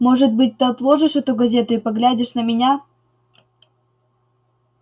может быть ты отложишь эту газету и поглядишь на меня